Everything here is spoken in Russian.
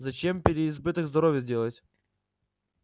зачем переизбыток здоровья сделать